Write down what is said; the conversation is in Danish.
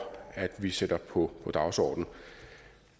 at vi sætter på dagsordenen